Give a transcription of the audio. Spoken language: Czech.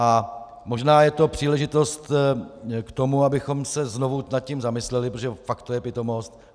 A možná je to příležitost k tomu, abychom se znovu nad tím zamysleli, protože je to fakt pitomost.